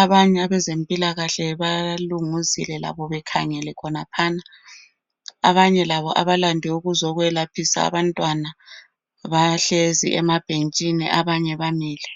Abanye abezempilakahle balunguzile labo bekhangele khonaphana. Abanye labo abalande ukuzokwelaphisa abantwana bahlezi emabhentshini abanye bamile.